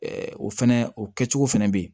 o fɛnɛ o kɛcogo fɛnɛ bɛ ye